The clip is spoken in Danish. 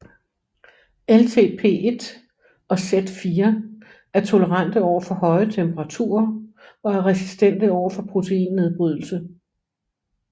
LTP1 og Z4 er tolerante over for høje temperaturer og er resistente over for proteinnedbrydelse